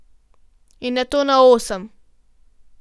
In nato na osem.